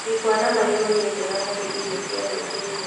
Gĩkwa na marĩgũ nĩ njega harĩ irio cia rũciinĩ